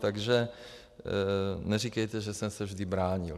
Takže neříkejte, že jsem se vždy bránil.